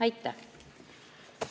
Aitäh!